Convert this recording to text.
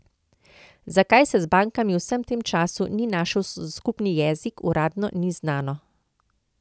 Zakaj se z bankami v vsem tem času ni našel skupni jezik, uradno ni znano.